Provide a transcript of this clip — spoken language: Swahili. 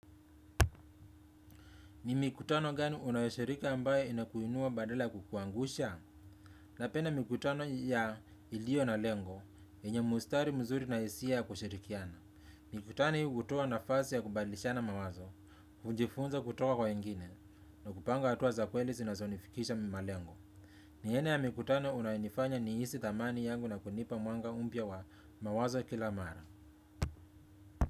Ni mikutano gani unayoshirika ambaye inakuinua badala ya kukuangusha napenda mikutano ya iliyo na lengo yenya mstari mzuri na hisia ya kushirikiana. Mikutano hii hutoa nafasi ya kubadilishana mawazo, kujifunza kutoka kwa wengine na kupanga hatua za kweli zinazonifikisha mi malengo. Ni aina ya mikutano unayonifanya nihisi thamani yangu na kunipa mwanga mpya wa mawazo kila mara.